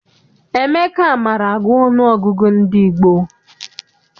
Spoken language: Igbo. Emeka maara agụ ọnụọgụgụ ndị gboo.